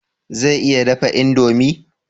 Zai iya dafa indomi?